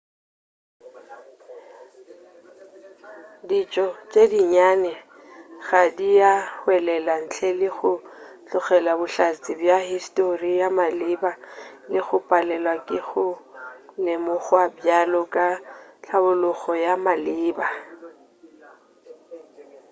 ditšo tše dinnyane gantši di a hwelela ntle le go tlogela bohlatse bja histori ya maleba le go palelwa ke go lemogwa bjalo ka tlhabollogo ya maleba